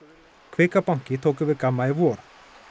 kvika banki tók yfir Gamma í vor